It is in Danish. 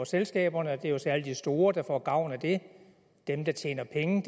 selskaberne det er jo særlig de store der får gavn af det dem der tjener penge